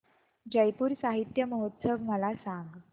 जयपुर साहित्य महोत्सव मला सांग